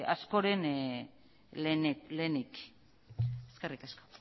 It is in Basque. askoren lehenik eskerrik asko